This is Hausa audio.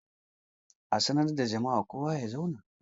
A sanar da jama'a kowa ya zauna!